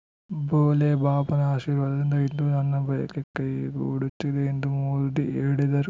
ಭೋಲೆ ಬಾಬಾನ ಆಶೀರ್ವಾದದಿಂದ ಇಂದು ನನ್ನ ಬಯಕೆ ಕೈಗೊಡುತ್ತಿದೆ ಎಂದು ಮೋದಿ ಹೇಳಿದರು